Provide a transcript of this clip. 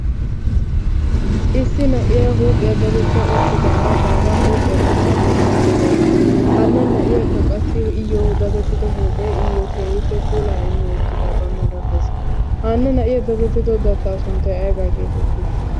issi na77iyaa huuphiyaa datetta uttidaara baagaa huuphiyaa dattaa bessaedda da7osu hanna na7iyaakka qassi iyyo datettido huuphe iyyo keehiippe puulaa immi uttida baa marattees hanna na7iyaa datettido dattaa sunttai aibaa geefettii?